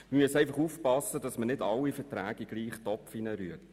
Wir müssen einfach aufpassen, dass wir nicht alle Verträge in denselben Topf werfen.